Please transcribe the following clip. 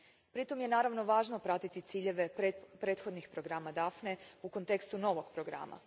Pritom je naravno važno pratiti ciljeve prethodnih programa Daphne u kontekstu novog programa.